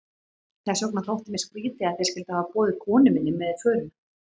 Þess vegna þótti mér skrýtið, að þeir skyldu hafa boðið konu minni með í förina.